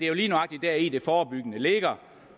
jo lige nøjagtig deri det forebyggende ligger